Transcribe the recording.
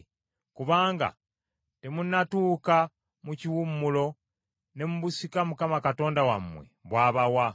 kubanga temunnatuuka mu kiwummulo ne mu busika Mukama Katonda wammwe bw’abawa.